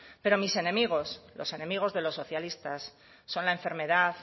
pero mis enemigos los enemigos de los socialistas son la enfermedad